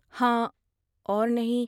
ہاں اور نہیں!